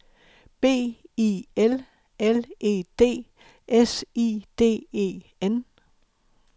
B I L L E D S I D E N